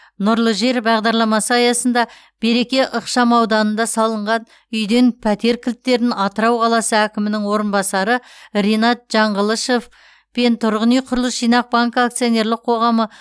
нұрлы жер бағдарламасы аясында береке ықшамауданында салынған үйден пәтер кілттерін атырау қаласы әкімінің орынбасары ринат жаңғылышов пен тұрғын үй құрылыс жинақ банкі акционерлік қоғамы